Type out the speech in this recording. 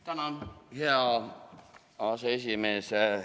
Tänan, hea aseesimees!